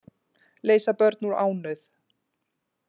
Leysa börn úr ánauð